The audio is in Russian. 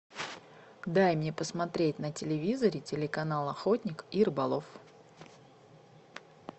дай мне посмотреть на телевизоре телеканал охотник и рыболов